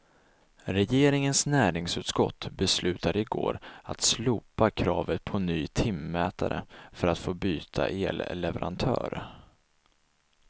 Regeringens näringsutskott beslutade igår att slopa kravet på ny timmätare för att få byta elleverantör.